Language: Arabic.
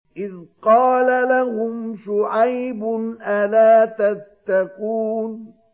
إِذْ قَالَ لَهُمْ شُعَيْبٌ أَلَا تَتَّقُونَ